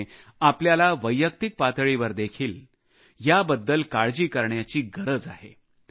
त्यामुळे आपल्याला वैयक्तिक पातळीवर देखील याबद्दल काळजी करण्याची गरज आहे